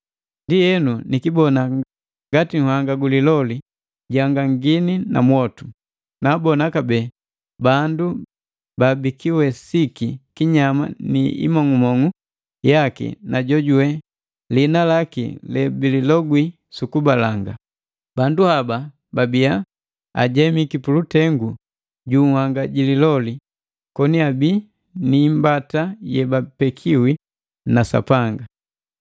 Ndienu nikibona ngati nhanga gu liloli, jihangangangini na mwotu. Naabona kabee bala bandu babikiwesiki kinyama ni imong'umong'u yaki na jojuwe liina laki lebililogwile sukubalanga. Bandu haba babiya ajemiki pulutengu ju nhanga ji liloli, koni abii ni imbata yebapekiwi na Sapanga.